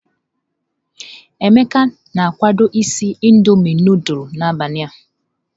Emeka na-akwado isi Indọmiị nudulu n'abalị a.